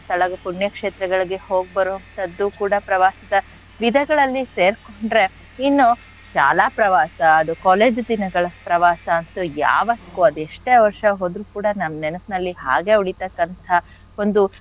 ಸ್ಥಳ ಪುಣ್ಯ ಕ್ಷೇತ್ರಗಳಿಗೆ ಹೋಗ್ಬರೋ ಅಂಥದ್ದು ಕೂಡ ಪ್ರವಾಸದ ವಿಧಗಳಲ್ಲಿ ಸೇರ್ಕೊಂಡ್ರೆ ಇನ್ನು ಶಾಲಾ ಪ್ರವಾಸ college ದಿನಗಳ ಪ್ರವಾಸ ಅಂತೂ ಯಾವತ್ತಿಗು ಅದ್ ಎಷ್ಟೇ ವರ್ಷ ಹೋದ್ರು ಕೂಡ ನಮ್ ನೆನ್ಪ್ನಲ್ಲಿ ಹಾಗೆ ಉಳಿತಕ್ಕಂಥ ಒಂದು,